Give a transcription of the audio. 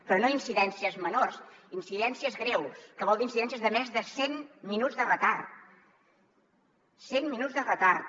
però no incidències menors incidències greus que vol dir incidències de més de cent minuts de retard cent minuts de retard